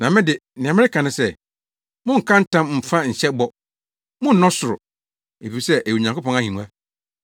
Na me de, nea mereka ne sɛ: Monnka ntam mmfa nhyɛ bɔ. Monnnɔ ɔsoro, efisɛ ɛyɛ Onyankopɔn ahengua.